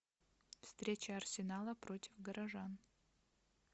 встреча арсенала против горожан